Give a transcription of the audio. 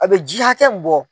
A bɛ ji hakɛ min bɔ